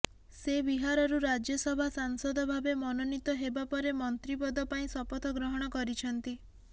ସେ ବିହାରରୁ ରାଜ୍ୟସଭା ସାସଂଦ ଭାବେ ମନୋନୀତ ହେବା ପରେ ମନ୍ତ୍ରୀ ପଦ ପାଇଁ ଶପଥ ଗ୍ରହଣ କରିଛନ୍ତି